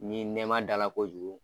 Ni nɛma da la kojugu